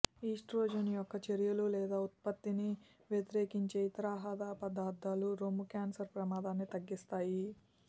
oestrogen యొక్క చర్యలు లేదా ఉత్పత్తిని వ్యతిరేకించే ఇతర ఆహార పదార్థాలు రొమ్ము క్యాన్సర్ ప్రమాదాన్ని తగ్గిస్తాయి